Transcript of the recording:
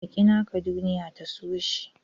Ka ƙi naka duniya ta so shi.